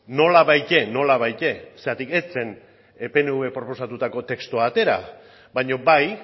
nolabait zeren ez zen pnv proposatutako testua atera baina bai